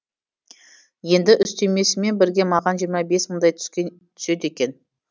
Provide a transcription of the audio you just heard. енді үстемесімен бірге маған жиырма бес мыңдай түседі екен